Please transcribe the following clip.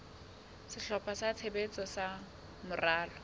sehlopha sa tshebetso sa moralo